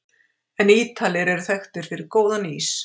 En Ítalir eru þekktir fyrir góðan ís!